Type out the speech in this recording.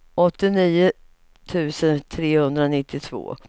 åttionio tusen trehundranittiotvå